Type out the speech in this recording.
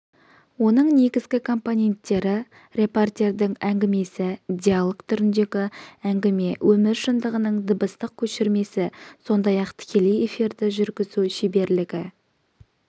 оның негізгі компоненттері репортердің әңгімесі диалог түріндегі әңгіме өмір шындығының дыбыстық көшірмесі сондай-ақ тікелей эфирді жүргізу шеберлігі